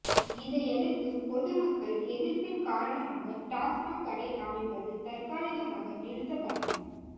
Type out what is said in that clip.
இதையடுத்து பொதுமக்கள் எதிர்ப்பின் காரணமாக டாஸ்மாக் கடை அமைப்பது தற்காலிகமாக நிறுத்தப்பட்டது